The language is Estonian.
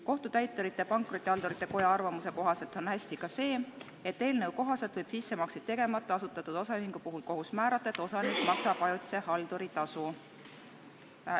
Kohtutäiturite ja Pankrotihaldurite Koja arvamuse kohaselt on hästi ka see, et eelnõu järgi võib sissemakseid tegemata asutatud osaühingu puhul kohus määrata, et osanik maksab ajutise halduri tasu.